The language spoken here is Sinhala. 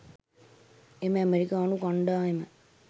එම ඇමරිකානු කණ්ඩායම